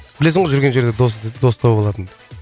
білесің ғой жүрген жерде досты дос тауып алатынымды